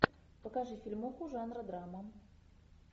покажи фильмуху жанра драма